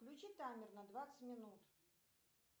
включи таймер на двадцать минут